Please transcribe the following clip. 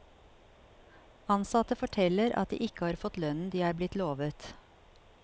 Ansatte forteller at de ikke har fått lønnen de er blitt lovet.